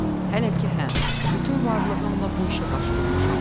Hələ ki hə, bütün varlığımla bu işə baş vurmuşam.